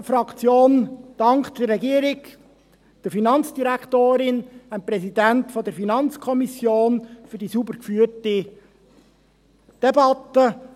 Die BDP-Fraktion dankt der Regierung, der FIN und dem Präsidenten der FiKo für die sauber geführte Debatte.